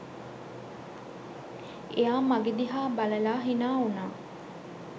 එයා මගෙ දිහා බලලා හිනා වුණා